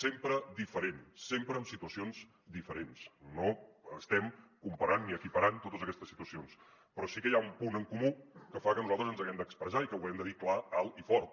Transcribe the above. sempre diferent sempre amb situacions diferents no estem comparant ni equiparant totes aquestes situacions però sí que hi ha un punt en comú que fa que nosaltres ens hàgim d’expressar i que ho hàgim de dir clar alt i fort